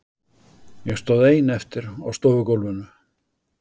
Ég stóð ein eftir á stofugólfinu.